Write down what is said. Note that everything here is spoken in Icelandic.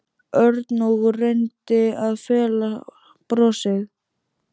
Örn og reyndi að fela brosið.